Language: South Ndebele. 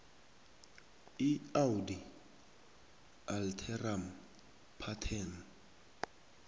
iaudi alteram partem